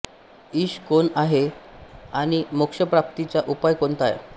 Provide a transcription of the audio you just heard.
ईश कोण आहे आणि मोक्षप्राप्तीचा उपाय कोणता आहे